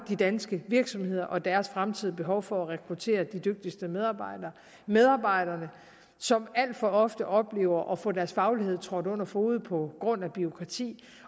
de danske virksomheder og deres fremtidige behov for at rekruttere de dygtigste medarbejdere medarbejdere som alt for ofte oplever at få deres faglighed trådt under fode på grund af bureaukrati